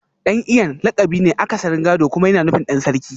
Dan Iyan lakabi ne akasarin gado kuma yana nufin Dan Sarki